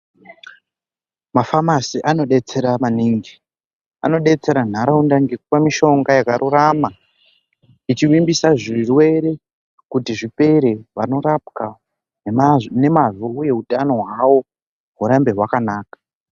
Mafamasi anodetsera maningi anodetsera nharaunda ngekupa mishonga yakarurama ichivimbisa zvirwere kuti zvipere vanorapwa nemazvo uye hutano hwavo hurambe hwakanaka.